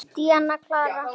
Díana klára.